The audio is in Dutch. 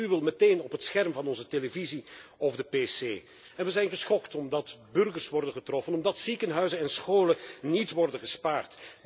We zien de gruwel meteen op het scherm van onze televisie of de pc en we zijn geschokt omdat burgers worden getroffen, omdat ziekenhuizen en scholen niet worden gespaard.